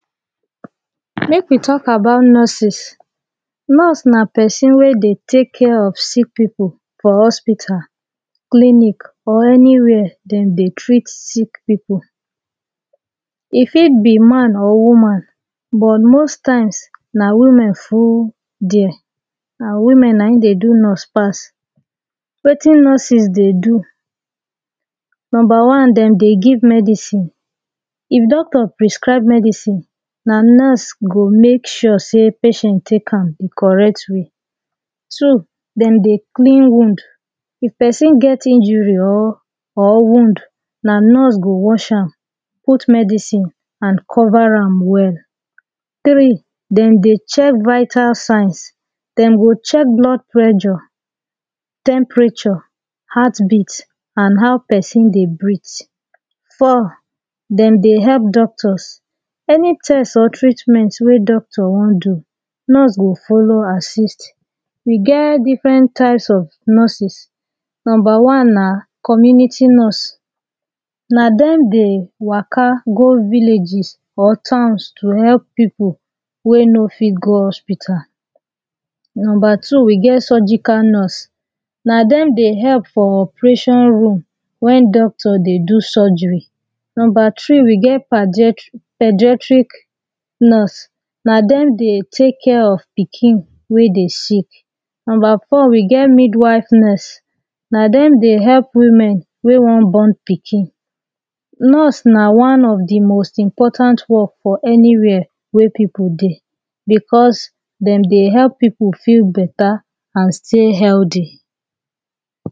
make we talk about nurses nurse nah person weh deh take care of sick people for hospital clinic or anywhere them dey treat sick people e fit be man or woman but most times nah women full there nah women nah in deh do nurse pass wetin nurses deh do number one them deh give medicine if doctor prescribe medicine nah nurse go make sure say patient take am the correct way two them deh clean wound if person get injury or or wound nah nurse go wash am put medicine and cover am well three them deh check vital signs them deh check blood pressure temperature heart beat and how person deh breath four them deh help doctors any test on treatment wey doctor want do nurse go follow assist we get different types of nurses number one nah community nurse nah them deh waka go villages or towns to help people wey no fit go hospital number two we have surgical nurse nah them deh help for operation room when doctor dey do surgery number three we get pedia pediatric nurse nah them deh take care of pikin weh deh sick number four we get mid-wife nurse nah them deh help women wey want born pikin nurse nah one of the most important work for anywhere wey people deh because them deh help people feel better and stay healthy